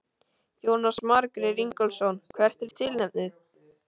Jónas Margeir Ingólfsson: Hvert er tilefnið?